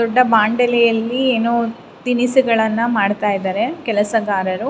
ದೊಡ್ಡ ಬಾಂಡಲಿಯಲ್ಲಿ ಏನೋ ತಿನಿಸುಗಳನ್ನು ಮಾಡ್ತಾ ಇದ್ದಾರೆ ಕೆಲಸಗಾರರು.